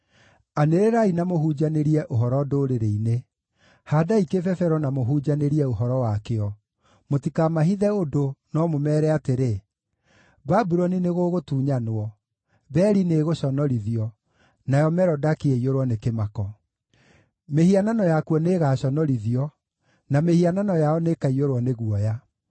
“Anĩrĩrai na mũhunjanĩrie ũhoro ndũrĩrĩ-inĩ, haandai kĩbebero na mũhunjanĩrie ũhoro wakĩo; mũtikamahithe ũndũ, no mũmeere atĩrĩ, ‘Babuloni nĩgũgũtunyanwo; Beli nĩĩgũconorithio, nayo Merodaki ĩiyũrwo nĩ kĩmako. Mĩhianano yakuo nĩĩgaconorithio, na mĩhianano yao nĩĩkaiyũrwo nĩ guoya.’